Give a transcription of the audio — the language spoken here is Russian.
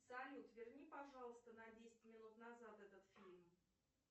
салют верни пожалуйста на десять минут назад этот фильм